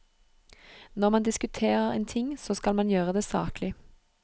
Når man diskuterer en ting, så skal man gjøre det saklig.